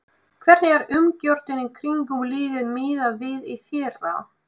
Hvernig er umgjörðin í kringum liðið miðað við í fyrra?